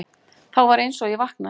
Þá var einsog ég vaknaði.